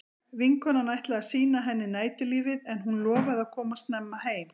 Vinkonan ætlaði að sýna henni næturlífið en hún lofaði að koma snemma heim.